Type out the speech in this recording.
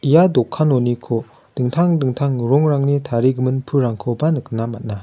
ia dokanoniko dingtang dingtang rongrangni tarigimin pulrangkoba nikna man·a.